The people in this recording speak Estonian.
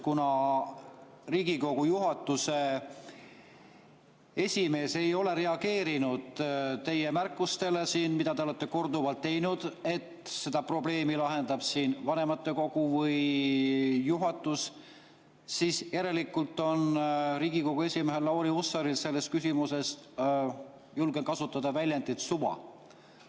Kuna Riigikogu esimees ei ole reageerinud teie märkustele, mida te olete korduvalt teinud, et seda probleemi lahendab vanematekogu või juhatus, siis järelikult on Riigikogu esimehel Lauri Hussaril sellest – julgen kasutada seda väljendit – suva.